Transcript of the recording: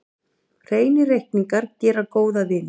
Hreinir reikningar gera góða vini.